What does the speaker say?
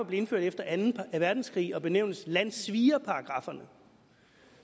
blev indført efter anden verdenskrig og benævnes landssvigerparagrafferne